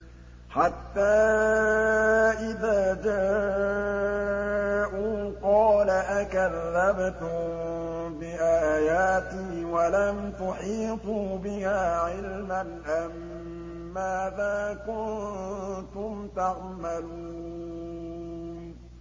حَتَّىٰ إِذَا جَاءُوا قَالَ أَكَذَّبْتُم بِآيَاتِي وَلَمْ تُحِيطُوا بِهَا عِلْمًا أَمَّاذَا كُنتُمْ تَعْمَلُونَ